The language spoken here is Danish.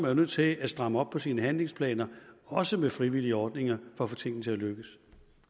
er nødt til at stramme op på sine handlingsplaner også med frivillige ordninger for at få tingene til at lykkes